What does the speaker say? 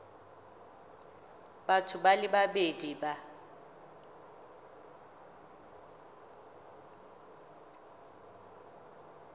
batho ba le babedi ba